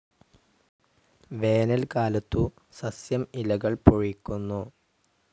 വേനൽക്കാലത്തു സസ്യം ഇലകൾ പൊഴിക്കുന്നു.